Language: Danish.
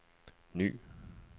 ny